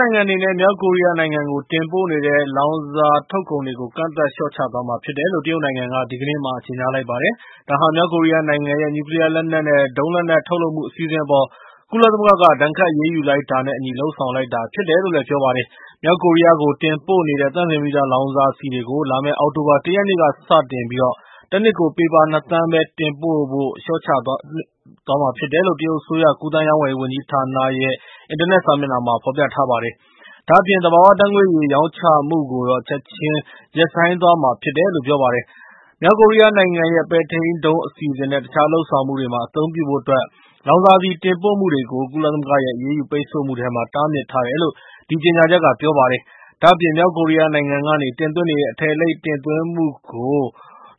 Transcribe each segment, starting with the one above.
နိုင်ငံအနေနဲ့ မြောက်ကိုရီးယားနိုင်ငံကို တင်ပို့နေတဲ့ လောင်စာထုတ်ကုန်တွေကို ကန့်သတ်လျှော့ချသွားမှာဖြစ်တယ်လို့ တရုတ်နိုင်ငံက ဒီကနေ့မှာ ကြေညာလိုက်ပါတယ်။ မြောက်ကိုရီးယားနိုင်ငံရဲ့ နျူးကလီးယား နဲ့ ဒုံလက်နက်ထုတ်လုပ်မှု အစီအစဉ်တွေအပေါ် ကုလသမဂ္ဂက ဒဏ်ခတ်အရေးယူလိုက်တာနဲ့ အညီ လုပ်ဆောင်လိုက်တာဖြစ်တယ်လို့ ပြောပါတယ်။ မြောက်ကိုရီးယားကိုတင်ပို့နေတဲ့ သန့်စင်ပြီးသားလောင်စာဆီတွေကို လာမယ့်အောက်တိုဘာ ၁ ရက်နေ့ကစတင်ပြီး တနှစ်ကို ပေပါ ၂ သန်းပဲ တင်ပို့ဖို့ လျှော့ချသွားမှာဖြစ်တယ်လို့ တရုတ်အစိုးရ ကူးသန်းရောင်းဝယ်ရေးဝန်ကြီးဌာနကရဲ့ အင်တာနက်စာမျက်နှာမှာ ဖော်ပြထားပါတယ်။ ဒါ့အပြင် သဘာဝဓါတ်ငွေ့ရည် ရောင်းချမှုကိုတော့ ချက်ချင်းရပ်ဆိုင်းသွားမှာဖြစ်တယ်လို့ ပြောပါတယ်။ မြောက်ကိုရီးယားနိုင်ငံရဲ့ ပဲ့ထိန်းဒုံးအစီအစဉ်နဲ့ တခြားလုပ်ဆောင်မှုတွေမှာ အသုံးပြုဖို့အတွက် လောင်စာဆီတင်ပို့မှုတွေကို ကုလသမဂ္ဂရဲ့ အရေးယူပိတ်ဆို့မှုထဲမှာ တားမြစ်ထားတယ်လို့ အဲဒီကြေညာချက်က ပြောပါတယ်။ ဒါ့အပြင် မြောက်ကိုရီးယားနိုင်ငံကနေ တင်သွင်းနေတဲ့ အထည်အလိပ်တင်သွင်းမှုတွေကို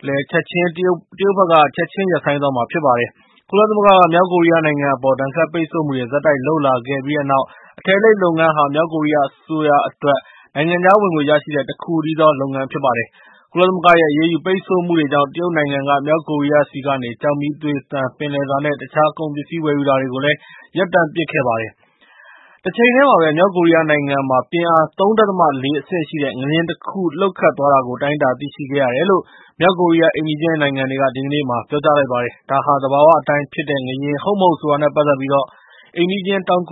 လည်းချက်ချင်း တရုတ်အစိုးရဘက်က ချက်ချင်း ရပ်ဆိုင်းသွားမှာဖြစ်ပါတယ်။ ကုလသမဂ္ဂက မြောက်ကိုရီးယားနိုင်ငံအပေါ် ဒဏ်ခတ်ပိတ်ဆို့မှုတွေ ဆက်တိုက်လုပ်လာခဲ့ပြီးတဲ့နောက် အထည်အလိပ်လုပ်ငန်းဟာ မြောက်ကိုရီးယားအစိုးရအတွက် နိုင်ငံခြားဝင်ငွေရရှိတဲ့ တခုတည်းသော လုပ်ငန်းဖြစ်ပါတယ်။ ကုလသမဂ္ဂရဲ့အရေးယူပိတ်ဆို့မှုတွေကြောင့်၊ တရုတ်နိုင်ငံက မြောက်ကိုရီးယားဆီကနေ ကျောက်မီးသွေ၊ သံ၊ ပင်လယ်စာ နဲ့ တခြားကုန်ပစ္စည်းဝယ်ယူတာတွေကို ရပ်တန့်ပစ်လိုက်ပါတယ်။ တချိန်တည်းမှာပဲ၊ မြောက်ကိုရီးယားနိုင်ငံမှာ ပြင်းအား ၃.၄ အဆင့်ရှိတဲ့ ငလျင်တခုလှုပ်ခတ်သွားတာကို တိုင်းတာသိရှိခဲ့ရတယ်လို့ မြောက်ကိုရီးယား အိမ်နီးချင်းနိုင်ငံတွေက ဒီကနေ့ ပြောကြားလိုက်ပါတယ်။ ဒါဟာ သဘာဝအတိုင်းဖြစ်တဲ့ငလျှင် ဟုတ်မဟုတ် ဆိုတာနဲ့ ပတ်သက်ပြီး တောင်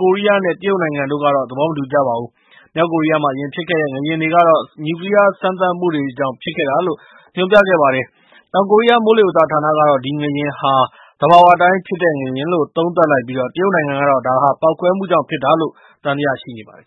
ကိုရီးယားနဲ့ တရုတ်နိုင်ငံတို့ကတော့ သဘောမတူကြပါဘူး။ မြောက်ကိုရီးယားမှာ အရင်ကဖြစ်ခဲ့တဲ့ ငလျင်တွေကတော့ နျူးကလီးယားစမ်းသပ်မှုကြောင့်လို့ ညွှန်ပြခဲ့ပါတယ်။ တောင်ကိုရီးယား မိုးလေဝသနဌာနကတော့ ဒီငလျင်ဟာ သဘာဝအတိုင်းဖြစ်တဲ့ငလျင်လို့ သုံးသပ်လိုက်ပြီး၊ တရုတ်နိုင်ငံကတော့ ဒါဟာ ပေါက်ကွဲမှုကြောင့်ဖြစ်တာလို့ သံသယရှိနေပါတယ်။